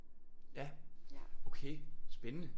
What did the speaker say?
Ja okay spændende